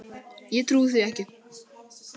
Ég trúi því ekki.